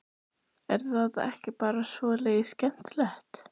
Er það ekki bara svolítið skemmtilegt?